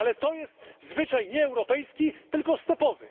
Ale to jest zwyczaj nie europejski, tylko stepowy.